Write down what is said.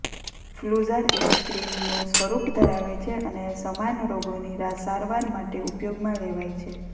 ફ્લુઝાર એક ક્રીમનું સ્વરૂપ ધરાવે છે અને સમાન રોગોની સારવાર માટે ઉપયોગમાં લેવાય છે